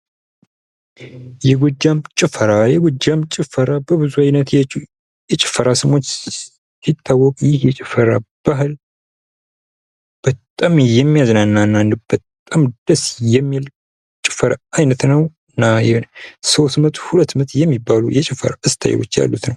የጎጃም ጭፈራ:- የጎጃም ጭፈራ በብዙ አይነት የጭፈራ ስሞች ሲታወቅ ፤ ይህ የጭፈራ ባህል በጣም የሚያዝናና፥ በጣም ደስ የሚል የጭፈራ አይነት ነው ፤ እና ሶስት ምት፥ ሁለት ምት የሚባሉ የጭፈራ ስታይል ያሉት ነው።